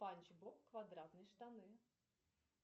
спанч боб квадратные штаны